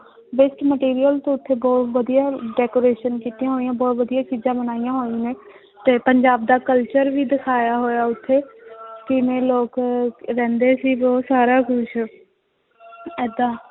Waste material ਤੋਂ ਉੱਥੇ ਬਹੁਤ ਵਧੀਆ decoration ਕੀਤੀਆਂ ਹੋਈਆਂ ਬਹੁਤ ਵਧੀਆ ਚੀਜ਼ਾਂ ਬਣਾਈਆਂ ਹੋਈਆਂ ਨੇ ਤੇ ਪੰਜਾਬ ਦਾ culture ਵੀ ਦਿਖਾਇਆ ਹੋਇਆ ਉੱਥੇ ਕਿਵੇਂ ਲੋਕ ਰਹਿੰਦੇ ਸੀ ਉਹ ਸਾਰਾ ਕੁਛ ਏਦਾਂ